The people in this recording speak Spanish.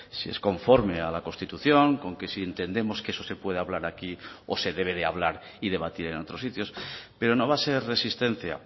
si es conforme a la constitución con que si entendemos que eso se puede hablar aquí o se debe de hablar y debatir en otros sitios pero no va a ser resistencia